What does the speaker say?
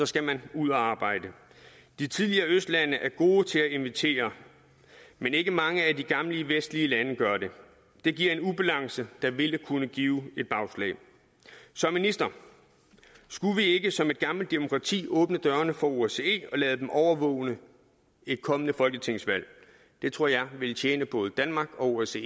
skal man ud at arbejde de tidligere østlande er gode til at invitere men ikke mange af de gamle vestlige lande gør det det giver en ubalance der vil kunne give bagslag så minister skulle vi ikke som et gammelt demokrati åbne dørene for osce og lade dem overvåge et kommende folketingsvalg det tror jeg ville tjene både danmark og osce